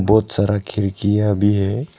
बहुत सारा खिड़कियां भी है।